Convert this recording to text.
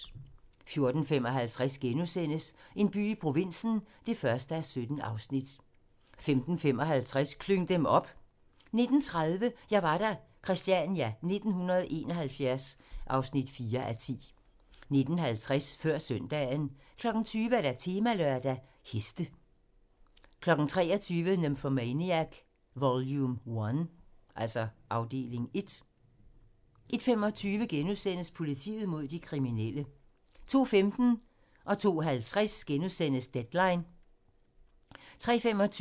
14:55: En by i provinsen (1:17)* 15:55: Klyng dem op! 19:30: Jeg var der – Christiania 1971 (4:10) 19:50: Før søndagen 20:00: Temalørdag: Heste 23:00: Nymphomaniac: Vol. I 01:25: Politiet mod de kriminelle * 02:15: Deadline * 02:50: Deadline * 03:25: Deadline *(lør-man)